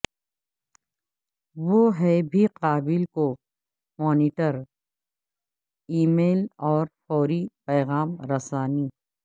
وہ ہیں بھی قابل کو مانیٹر ای میل اور فوری پیغام رسانی